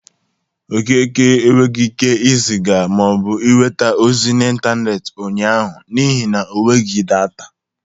Okeke enwegi ike ịzịga ma ọ bụ nweta ozi n'intaneeti ụnyaahụ n'ihi na o nweghi data.